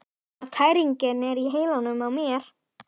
Nema tæringin er í heilanum á mér!